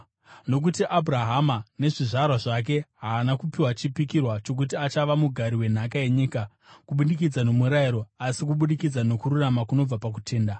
Nokuti Abhurahama, nezvizvarwa zvake, haana kupiwa chipikirwa chokuti achava mugari wenhaka yenyika, kubudikidza nomurayiro, asi kubudikidza nokururama kunobva pakutenda.